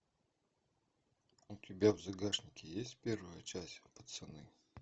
у тебя в загашнике есть первая часть пацаны